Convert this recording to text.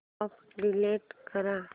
app delete कर